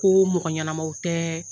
Ko mɔgɔ ɲɛnamaw tɛ